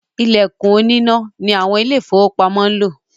“Ìlẹ̀kùn oníná ” ni àwọn Ilé-ìfowópamọ́ ń lò